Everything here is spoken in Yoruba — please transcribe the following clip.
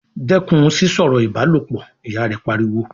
"Dẹ́kun sísọ̀rọ̀ ìbálòpọ̀!", Ìyá rẹ̀ pariwo